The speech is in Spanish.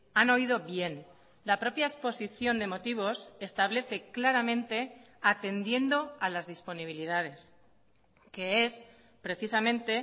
han oído bien la propia exposición de motivos establece claramente atendiendo a las disponibilidades que es precisamente